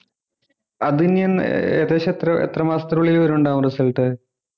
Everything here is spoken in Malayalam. അത് ഇനി എന്ന ഏർ ഏകദേശം എത്ര എത്ര മാസത്തിനുള്ളിൽ വരും ണ്ടാവും result